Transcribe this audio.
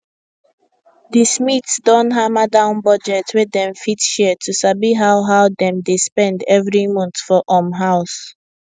the smiths don hammer down budget wey dem fit share to sabi how how dem dey spend every month for um house